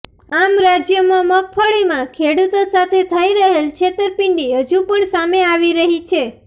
આમ રાજ્યમાં મગફળીમાં ખેડૂતો સાથે થઇ રહેલ છેતરપિંડી હજુ પણ સામે આવી રહી છે